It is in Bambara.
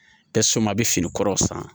a bɛ fini kɔrɔ san